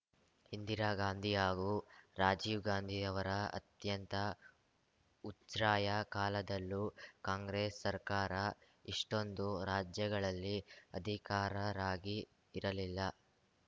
ಇಂದಿರಾ ಗಾಂಧಿ ಹಾಗೂ ರಾಜೀವ್‌ ಗಾಂಧಿ ಅವರ ಅತ್ಯಂತ ಉಚ್ಛ್ರಾಯ ಕಾಲದಲ್ಲೂ ಕಾಂಗ್ರೆಸ್‌ ಸರ್ಕಾರ ಇಷ್ಟೊಂದು ರಾಜ್ಯಗಳಲ್ಲಿ ಅಧಿಕಾರರಾಗಿ ಇರಲಿಲ್ಲ